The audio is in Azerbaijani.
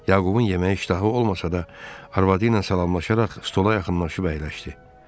Yaqubun yeməyə iştahı olmasa da, arvadı ilə salamlaşaraq stola yaxınlaşıb əyləşdi.